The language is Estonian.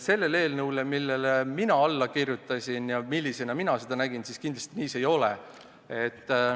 Selle eelnõu kohaselt, millele mina alla kirjutasin, see kindlasti nii ei ole.